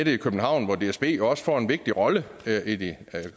i københavn hvor dsb jo også får en vigtig rolle i de